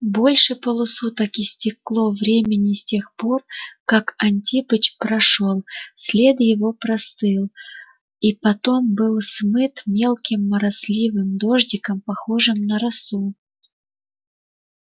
больше полусуток истекло времени с тех пор как антипыч прошёл след его простыл и потом был смыт мелким моросливым дождиком похожим на расу